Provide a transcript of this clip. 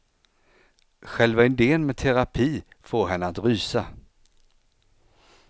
Själva idén med terapi får henne att rysa.